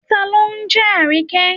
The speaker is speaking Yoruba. Ta ló ni jẹ́ Àríkẹ́?